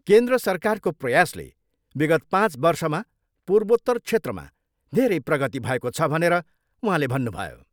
केन्द्र सरकारको प्रयासले विगत पाँच वर्षमा पूर्वोत्तर क्षेत्रमा धेरै प्रगति भएको छ भनेर उहाँले भन्नुभयो।